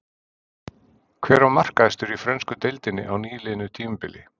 Hver var markahæstur í frönsku deildinni á nýliðnu tímabili?